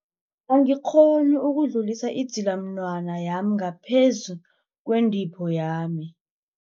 Angikghoni ukudlulisa idzilamunwana yami ngaphezu kwentipho yami.